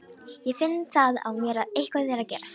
Ég finn það á mér að eitthvað er að gerast.